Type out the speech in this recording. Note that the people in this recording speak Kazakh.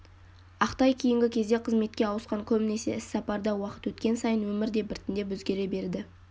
ақтай кейінгі кезде қызметке ауысқан көбінесе іссапарда уақыт өткен сайын өмір де біртіндеп өзгере берді